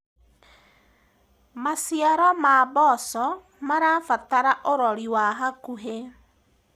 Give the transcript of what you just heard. maciaro ma mboco marabatara urori wa hakuhi